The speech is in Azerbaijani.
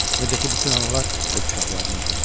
Necə ki, bütün analar öz uşaqlarını öpür.